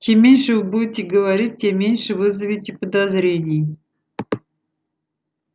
чем меньше вы будете говорить тем меньше вызовете подозрений